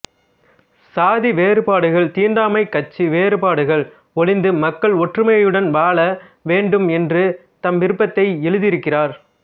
சாதி வேறுபாடுகள் தீண்டாமை கட்சி வேறுபாடுகள் ஒழிந்து மக்கள் ஒற்றுமையுடன் வாழ வேண்டும் என்று தம் விருப்பத்தை எழுதியிருக்கிறார்